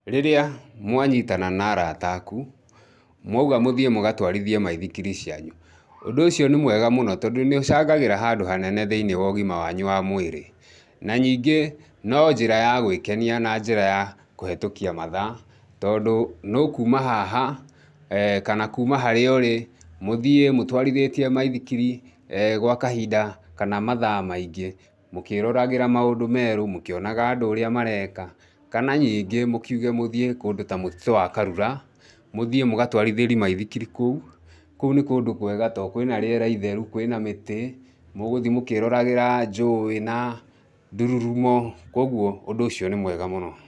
Rĩrĩa mwanyitana na arata aku, mwauga mũthiĩ mũgatwarithie maithikiri cianyu, ũndũ ũcio nĩ mwega mũno tondũ nĩ ũcangagĩra handũ hanene thĩinĩ wa ũgima wanyu wa mwĩrĩ. Na ningĩ no njĩra ya gwĩkenia na njĩra ya kũhetukia mathaa tondũ nĩ ũkuuma haha kana kuuma harĩa ũrĩ, mũthiĩ mũtwarithĩtie maithikiri kwa kahinda kana mathaa maingĩ mũkĩĩroragĩra maũndũ merũ mũkĩonaga andũ ũrĩa mareka, kana ningĩ mũkiuge mũthiĩ kũndũ ta mũtitũ wa karura, mũthiĩ mũgatwarithĩrie maithikiri kũu. Kũu nĩ kũndũ kwega tondũ kwĩ na rĩera itheru, kwĩ na mĩtĩ, mũgũthiĩ mũkĩĩroragĩra njũũĩ na ndururumo, kwoguo, ũndũ ũcio nĩ mwega mũno.